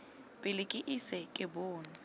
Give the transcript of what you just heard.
pele ke ise ke bonwe